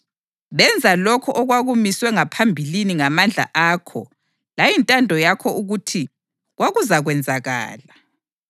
Benza lokho okwakumiswe ngaphambilini ngamandla akho layintando yakho ukuthi kwakuzakwenzakala.